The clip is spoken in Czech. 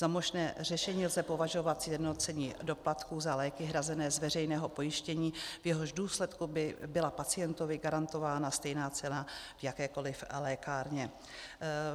Za možné řešení lze považovat sjednocení doplatků za léky hrazené z veřejného pojištění, v jehož důsledku by byla pacientovi garantována stejná cena v jakékoliv lékárně.